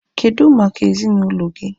Kedụ maka ezinaụlọ gị?